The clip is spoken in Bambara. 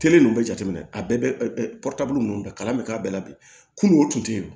Kelen dun bɛ jateminɛ a bɛɛ bɛ minnu bɛ kalan bɛ k'a bɛɛ la bi kunun o tun tɛ yen